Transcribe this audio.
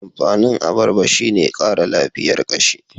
Amfanin abarba shi ne Kara lafiyar kashi.